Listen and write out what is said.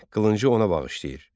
Qılıncı ona bağışlayır.